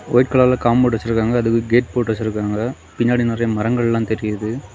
White கலர்ல compound வெச்சிருக்காங்க. அதுக்கு கேட் போட்டு வெச்சிருக்காங்க. பின்னாடி நிறைய மரங்கலெல்லாம் தெரியுது.